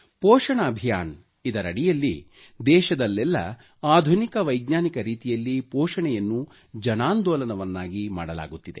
ಪೋಷಣ ಅಭಿಯಾನ ದಡಿಯಲ್ಲಿ ದೇಶದಲ್ಲೆಲ್ಲ ಆಧುನಿಕ ವೈಜ್ಞಾನಿಕ ರೀತಿಯಲ್ಲಿ ಪೋಷಣೆಯನ್ನು ಜನಾಂದೋಲನವನ್ನಾಗಿ ಮಾಡಲಾಗುತ್ತಿದೆ